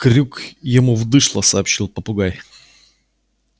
крюк ему в дышло сообщил попугай